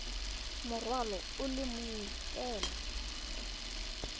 morwalo o le mongwe fela